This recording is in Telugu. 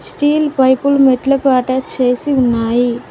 స్టీల్ పైపులు మెట్లుకు అటాచ్ చేసి ఉన్నాయి.